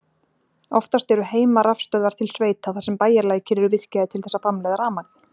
Oftast eru heimarafstöðvar til sveita þar sem bæjarlækir eru virkjaðir til þess að framleiða rafmagn.